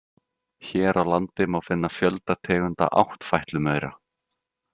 Hér á landi má finna fjölda tegunda áttfætlumaura.